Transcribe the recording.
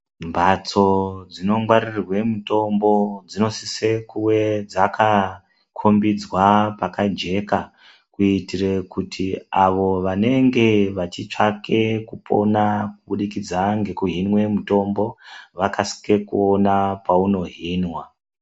Mbatso dzino ngwarirwe mutombo dzino size kunge dziri paka jeka kuitire kuti avo vanenge vachi tsvake kupona kubudikidza neku hinwa mitombo vakasike kuona paino hinwa.